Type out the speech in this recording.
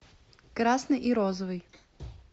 красный и розовый